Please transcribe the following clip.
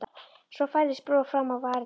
Svo færðist bros fram á varirnar.